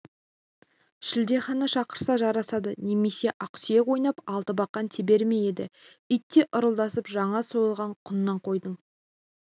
шілдехана шақырса жарасады немесе ақсүйек ойнап алтыбақан тебер ме еді итте ырылдасып жаңа сойылған құнан қойдың